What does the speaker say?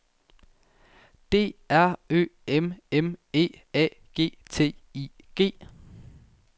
D R Ø M M E A G T I G